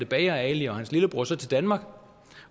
bager ali og hans lillebror så til danmark